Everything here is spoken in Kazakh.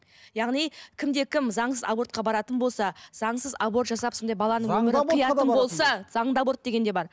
яғни кімде кім заңсыз абортқа баратын болса заңсыз аборт жасап сондай баланың өмірін қиятын болса заңды аборт деген де бар